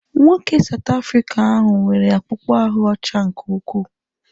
Nwoke South Afrịca ahụ nwere akpụkpọ ahụ́ ọcha nke ukwuu.